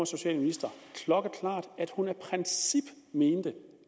socialminister at hun af princip mente